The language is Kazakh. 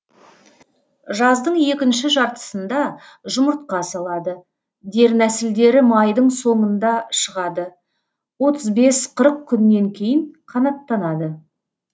жаздың екінші жартысында жұмыртқа салады дернәсілдері майдың соңында шығады отыз бес қырық күннен кейін қанаттанады